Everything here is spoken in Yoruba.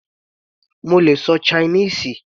Mo lè ṣọ Chinese.